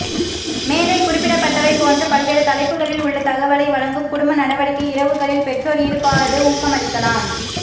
மேலே குறிப்பிடப்பட்டவை போன்ற பல்வேறு தலைப்புகளில் உள்ள தகவலை வழங்கும் குடும்ப நடவடிக்கை இரவுகளில் பெற்றோர் ஈடுபாடு ஊக்கமளிக்கலாம்